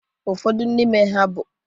Ụfọdụ n'ime ha bụ